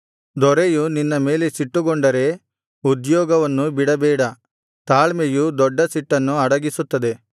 ದೊರೆಯು ನಿನ್ನ ಮೇಲೆ ಸಿಟ್ಟುಗೊಂಡರೆ ಉದ್ಯೋಗವನ್ನು ಬಿಡಬೇಡ ತಾಳ್ಮೆಯು ದೊಡ್ಡ ಸಿಟ್ಟನ್ನು ಅಡಗಿಸುತ್ತದೆ